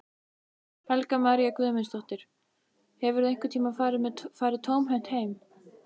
Helga María Guðmundsdóttir: Hefurðu einhvern tímann farið tómhent heim?